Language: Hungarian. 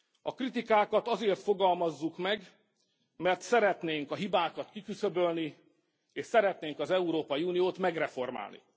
A kritikákat azért fogalmazzuk meg, mert szeretnénk a hibákat kiküszöbölni, és szeretnénk az Európai Uniót megreformálni.